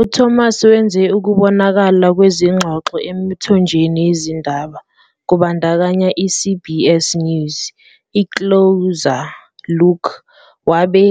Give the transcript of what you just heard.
UThomas wenze ukubonakala kwezingxoxo emithonjeni yezindaba kubandakanya i- CBS News, i "-Closer Look" WABE